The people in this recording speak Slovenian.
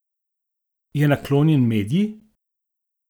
Je naklonjen Medji?